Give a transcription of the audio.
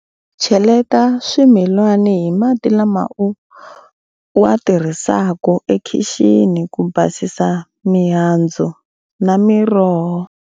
Cheleta swimilani hi mati lama u ya tirhiseke ekhixini ku basisa mihandzu na miroho.